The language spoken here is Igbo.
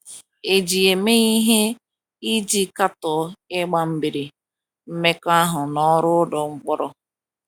E ji ya eme ihe iji katọọ ịgba mgbere mmekọahụ na ọrụ ụlọ mkpọrọ. ”